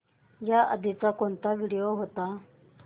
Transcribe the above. याआधी कोणता व्हिडिओ होता